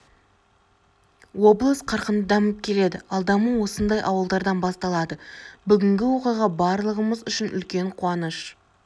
облыс қарқынды дамып келеді ал даму осындай ауылдардан басталады бүгінгі оқиға барлығымыз үшін үлкен қуаныш